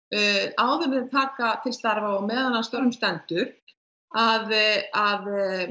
áður en þeir taka til starfa og á meðan á störfum stendur að að